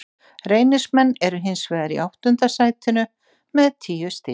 Reynismenn eru hins vegar í áttunda sætinu með tíu stig.